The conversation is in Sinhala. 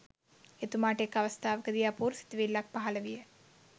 එතුමාට එක් අවස්ථාවක දී අපූරු සිතිවිල්ලක් පහළ විය.